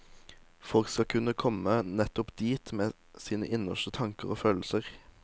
Folk skal kunne komme nettopp dit med sine innerste tanker og følelser.